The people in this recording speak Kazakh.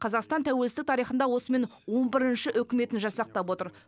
қазақстан тәуелсіз тарихында осымен он бірінші үкіметін жасақтап отыр